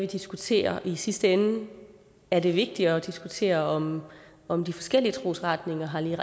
vi diskuterer i sidste ende er det vigtigere at diskutere om om de forskellige trosretninger har lige